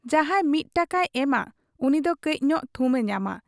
ᱡᱟᱦᱟᱸᱭ ᱢᱤᱫ ᱴᱟᱠᱟᱭ ᱮᱢᱟ ᱩᱱᱤ ᱫᱚ ᱠᱟᱹᱡ ᱧᱚᱜ ᱛᱷᱩᱢ ᱮ ᱧᱟᱢᱟ ᱾